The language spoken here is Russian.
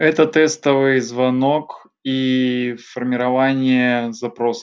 это тестовый звонок и формирование запроса